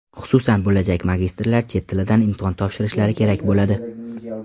Xususan, bo‘lajak magistrlar chet tilidan imtihon topshirishlari kerak bo‘ladi.